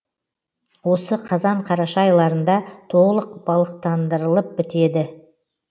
осы қазан қараша айларында толық балықтандырылып бітеді